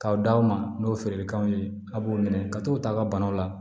K'aw d'aw ma n'o ye feerekanw ye a b'u minɛ ka t'u ta ka banaw la